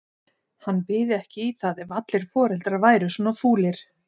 Hann byði ekki í það ef allir foreldrar væru svona fúlir.